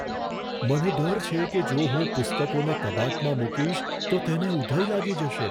મને ડર છે કે જો હું પુસ્તકોને કબાટમાં મૂકીશ, તો તેને ઉધઈ લાગી જશે.